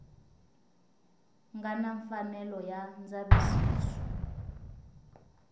nga na mfanelo ya ndzavisiso